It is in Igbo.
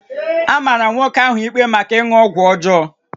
A mara nwoke ahụ ikpe maka ịṅụ ọgwụ ọjọọ